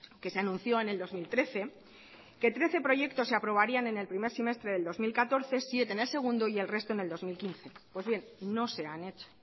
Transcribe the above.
que se anunció en el dos mil trece que trece proyectos se aprobarían en el primer semestre del dos mil catorce siete en el segundo y el resto en el dos mil quince pues bien no se han hecho